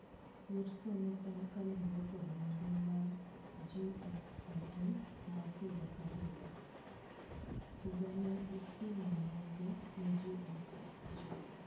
Yuto go ne en kalure kod nonro mar GSMA ma higa ka higa. Higa ni ne gitimo nonro ne ji eluf ochiko.